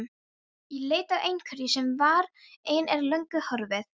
Í leit að einhverju sem var, en er löngu horfið.